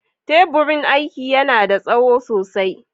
Teburin aiki yana da tsawo sosai.